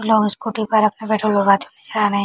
लोग स्कूटी पर अपना पेट्रोल डलवाते हुए नजर आ रहे हैं।